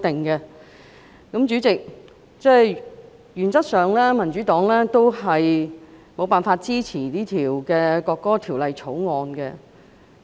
代理主席，原則上民主黨無法支持《條例草案》。